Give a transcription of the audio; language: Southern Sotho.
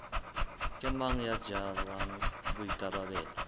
ke mang ya jarang boikarabelo